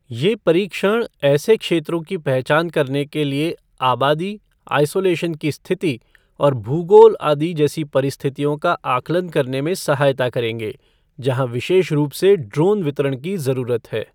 ये परीक्षण ऐसे क्षेत्रों की पहचान करने के लिए आबादी, आइसोलेशन की स्थिति और भूगोल आदि जैसी परिस्थितियों का आकलन करने में सहायता करेंगे, जहां विशेष रूप से ड्रोन वितरण की जरूरत है।